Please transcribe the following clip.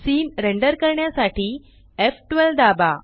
scene render करण्यासाठी एफ12 दाबा